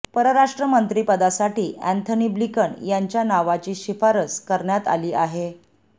परराष्ट्रमंत्री पदासाठी Antony Blinken यांच्या नावाची शिफारस करण्यात आली आहे